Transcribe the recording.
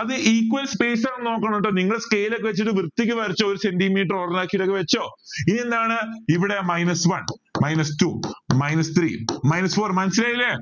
അത് equal space ആണോന്ന് നോക്കണം കേട്ടോ നിങ്ങള് scale ഒക്കെ വെച്ചിട്ട് വൃത്തിക്ക് വരച്ചോ ഒരു centi meter ഇനി എന്താണ് ഇവിടെ minus one minus two. minus three minus four മനസ്സിലായില്ലേ